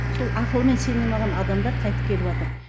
сол ақылмен сене алмаған адамдар қайтып келіватыр